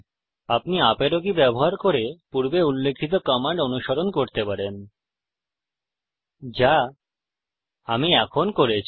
আপনি up arrow key ব্যবহার করে পূর্বে উল্লিখিত কমান্ড অনুস্মরণ করতে পারেন যা আমি এখন করেছি